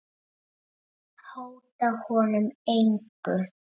Og kannski aldrei.